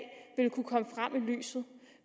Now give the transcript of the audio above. lyset